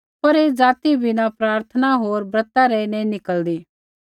पर ऐ जाति बिना प्रार्थना होर ब्रता रै नैंई निकल़दी